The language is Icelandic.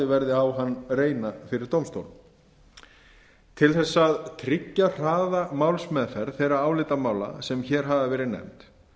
verði á hann reyna fyrir dómstólum til að tryggja hraða málsmeðferð þeirra álitamála sem hér hafa verið nefnd